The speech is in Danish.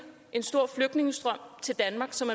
en stor flygtningestrøm til danmark som